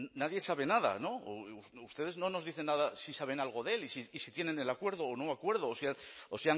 nadie sabe nada o ustedes no nos dicen nada si saben algo de él y si tienen el acuerdo o no acuerdo o